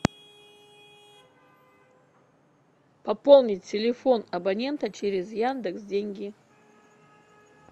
пополнить телефон абонента через яндекс деньги